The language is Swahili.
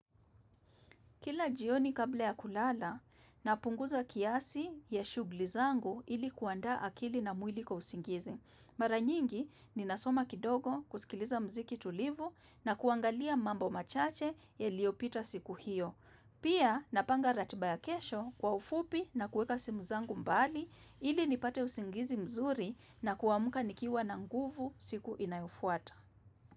Kila jioni kabla ya kulala, napunguza kiasi ya shughuli zangu ili kuandaa akili na mwili kwa usingizi. Mara nyingi ninasoma kidogo kusikiliza muziki tulivu na kuangalia mambo machache yaliopita siku hiyo. Pia napanga ratiba ya kesho kwa ufupi na kueka simu zangu mbali ili nipate usingizi mzuri na kuamka nikiwa na nguvu siku inayofuata.